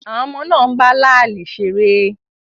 Àwọn ọmọ náà ń bá láàlì ṣeré.